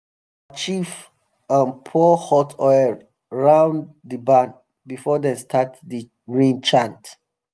our chief um pour hot oil round the barn before dem start the rain chant.